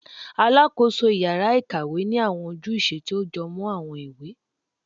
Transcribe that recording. Alakoso ìyára-ikawé ni awọn ojúsẹ ti o jọmọ awọn ìwé